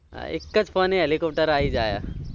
હા એકજ ફોને helicopter આયી જાય